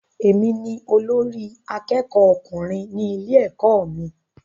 Èmi ni olórí àkẹ́kọ̀ọ ọkùnrin ní ilé ẹ̀kọ́ mí.